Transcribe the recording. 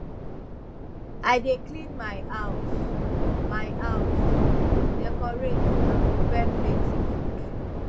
i dey clean my house my house decorate and prepare plenty food